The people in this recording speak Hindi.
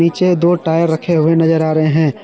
नीचे दो टायर रखे हुए नजर आ रहे हैं।